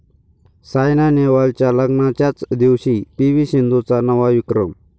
सायना नेहवालच्या लग्नाच्याच दिवशी पी.व्ही. सिंधूचा नवा विक्रम